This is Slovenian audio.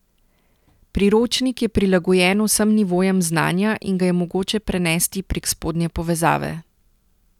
Priročnik je prilagojen vsem nivojem znanja in ga je mogoče prenesti prek spodnje povezave.